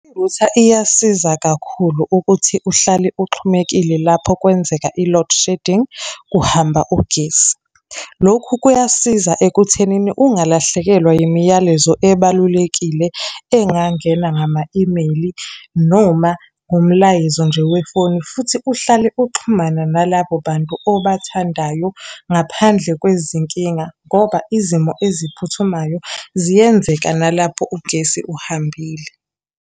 Irutha iyasiza kakhulu ukuthi uhlale uxhumekile lapho kwenzeka i-load shedding, kuhamba ugesi. Lokhu kuyasiza ekuthenini ungalahlekelwa imiyalezo ebalulekile engangena ngama-e-mail, noma ngumlayezo nje wefoni futhi uhlale uxhumana nalabo bantu obathandayo ngaphandle kwezinkinga. Ngoba izimo eziphuthumayo ziyenzeka nalapho ugesi uhambile.